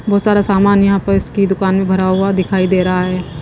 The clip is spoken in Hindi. बहोत सारा सामान यहां पर इसकी दुकान में भरा हुआ दिखाई दे रहा है।